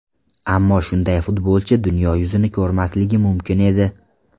Ammo shunday futbolchi dunyo yuzini ko‘rmasligi mumkin edi.